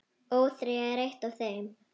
ÓÞREYJA er eitt af þeim.